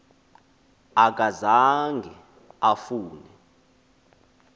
aka zange afune